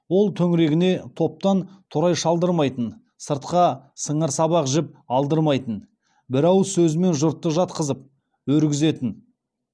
ол төңірегіне топтан торай шалдырмайтын сыртқа сыңар сабақ жіп алдырмайтын бір ауыз сөзімен жұртты жатқызып өргізетін